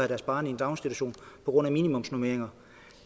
deres barn i en daginstitution på grund af minimumsnormeringer